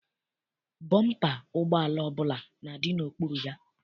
Bọmpa ụgbọala ọbụla na-adị n'okpuru ya.